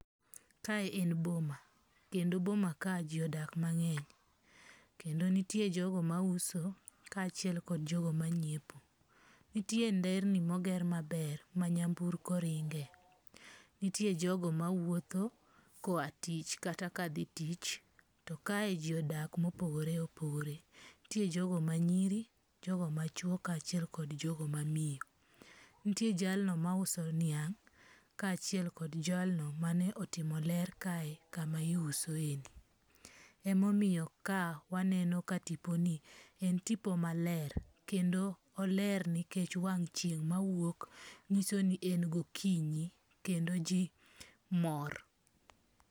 Kae en boma, kendo boma kae ji odak mange'ny, kendo nitie jogo ma uso ka chiel kod jogo manyiepo, nitie nderni moger maber manyamburko ringe', nitie jogo mawuoth ka oya tich kata ka thi tich, to kae ji odak mopogore opogore, nitie jogo manyiri, jogo ma chuo kachiel kod jogo ma miyo, nitie jalno mauso niang' kachiel kod jalno mane otimo ler kae kama iusoie, ema omiyo kawaneno ka tiponi en tipo maler kendo oler nikech wang' chieng' mawuok nyisoni en gokinyi kendo ji mor.